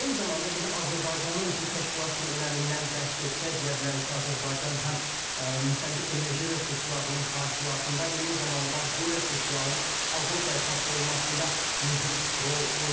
Eyni zamanda biz Azərbaycanın bu təşkilat üçün önəmindən bəhs etsək, deyə bilərik ki, Azərbaycan həm müxtəlif enerji resurslarının hasilatında, eyni zamanda bu resursların Avropaya çatdırılmasında mühüm rol oynayır.